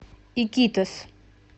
икитос